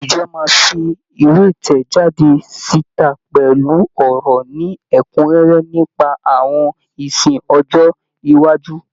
Ìjọ máa fi ìwé ìtẹ̀jáde síta pẹ̀lú ọ̀rọ̀ ní ẹ́kúnrẹ́rẹ́ nípa àwọn ìsìn ọjọ́ iwájú.